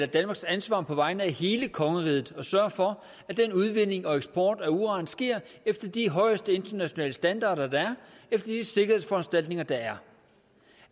danmarks ansvar på vegne af hele kongeriget at sørge for at den udvinding og den eksport af uran sker efter de højeste internationale standarder og efter de sikkerhedsforanstaltninger der er